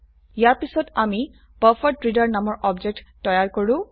ইয়াৰ পিছত আমি বাফাৰেড্ৰেডাৰ নামৰ অবজেক্ট তৈয়াৰ কৰো